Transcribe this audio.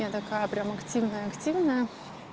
я такая прям активная активная